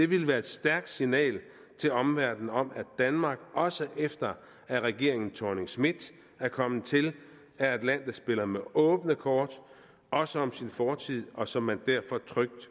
ville være et stærkt signal til omverdenen om at danmark også efter at regeringen thorning schmidt er kommet til er et land der spiller med åbne kort også om sin fortid og som man derfor trygt